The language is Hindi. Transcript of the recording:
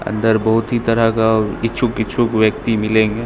अंदर बहुत ही तरह का इच्छुक इच्छुक व्यक्ति मिलेंगे।